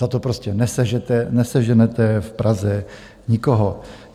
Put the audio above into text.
Za to prostě neseženete v Praze nikoho.